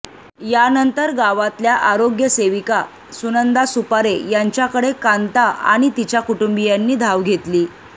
यानंतर गावातल्या आरोग्य सेविका सुनंदा सुपारे यांच्याकडे कांता आणि तिच्या कुटुंबियांनी धाव घेतली